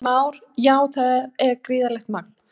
Heimir Már: Já, það er gífurlegt magn?